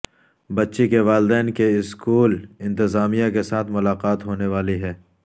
بچی کے والدین کی اسکول انتظامیہ کے ساتھ ملاقات ہونے والی ہے